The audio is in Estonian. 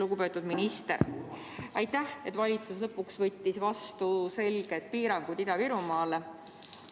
Lugupeetud minister, aitäh, et valitsus lõpuks võttis vastu otsuse kehtestada selged piirangud Ida‑Virumaal!